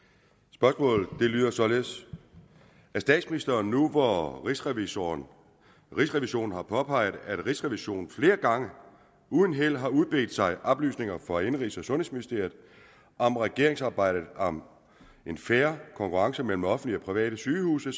spørgsmålet lyder således er statsministeren nu hvor rigsrevisionen rigsrevisionen har påpeget at rigsrevisionen flere gange og uden held har udbedt sig oplysninger fra indenrigs og sundhedsministeriet om regeringsarbejdet om en fair konkurrence mellem offentlige og private sygehuse